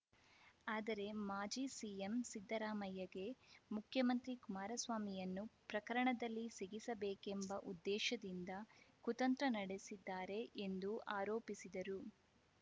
ಆದರೆ ಮಾಜಿ ಸಿಎಂ ಸಿದ್ದರಾಮಯ್ಯಗೆ ಮುಖ್ಯಮಂತ್ರಿ ಕುಮಾರಸ್ವಾಮಿಯನ್ನು ಪ್ರಕರಣದಲ್ಲಿ ಸಿಗಿಸಬೇಕೆಂಬ ಉದ್ದೇಶದಿಂದ ಕುತಂತ್ರ ನಡೆಸಿದ್ದಾರೆ ಎಂದು ಆರೋಪಿಸಿದರು